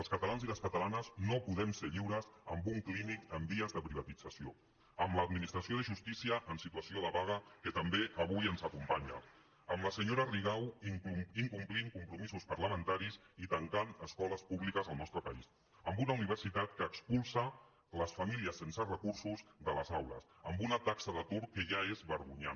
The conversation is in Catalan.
els catalans i les catalanes no poden ser lliures amb un clínic en vies de privatitza·ció amb l’administració de justícia en situació de va·ga que també avui ens acompanyen amb la senyora rigau incomplint compromisos parlamentaris i tan·cant escoles públiques al nostre país amb una univer·sitat que expulsa les famílies sense recursos de les au·les amb una taxa d’atur que ja és vergonyant